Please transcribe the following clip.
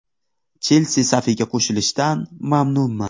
“Chelsi” safiga qo‘shilishdan mamnunman.